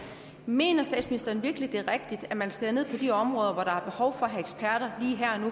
mener statsministeren virkelig at det er rigtigt at man skærer ned på de områder